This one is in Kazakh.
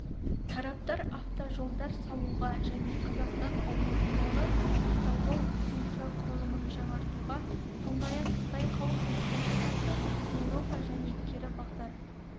тараптар автожолдар салуға және қазақстан аумағындағы автожол инфрақұрылымын жаңғыртуға сондай-ақ қытай халық республикасы-еуропа және кері бағдар